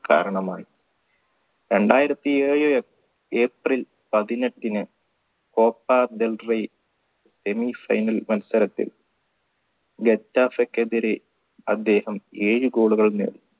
കാരണമായി രണ്ടായിരത്തി ഏഴ് april പതിനെട്ടിന് പോപ്പ ഡെൽറി semi final മത്സരത്തിൽ ക്കെതിരെ അദ്ദേഹം ഏഴ് goal കൾ നേടി